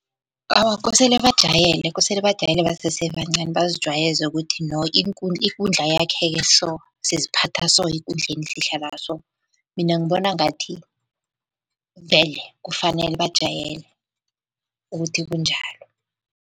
Awa, kosele bajayele, kosele bajayele basese bancani bazijwayeze ukuthi no ikundla yakheke so. Siziphatha so ekundleni. Mina ngibona ngathi vele kufanele bajayele ukuthi kunjalo.